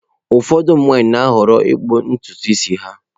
Ụfọdụ ụmụ nwanyị na-ahọrọ ịkpụ ntutu isi ha.